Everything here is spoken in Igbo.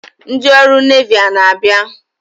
Ndị ọrụ Nevi a na-abịa?